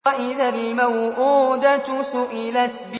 وَإِذَا الْمَوْءُودَةُ سُئِلَتْ